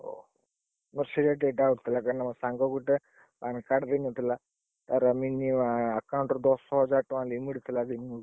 ଓଃ! ମୋର ସେଇଟା ଟିକେ doubt ଥିଲା କାଇଁ ନା ମୋ ସାଙ୍ଗ ଗୁଟେ PAN card ହେଇନଥିଲା, ତାର minimum account ରେ ଦଶହଜାର ଟଙ୍କା limit ଥିଲା ।